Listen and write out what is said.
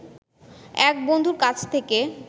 এক বন্ধুর কাছ থেকে